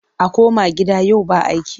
A koma gida yau ba aiki!